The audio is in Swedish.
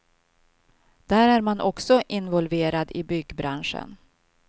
Där är man också involverad i byggbranschen.